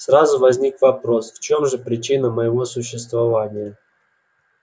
сразу возник вопрос в чем же причина моего существования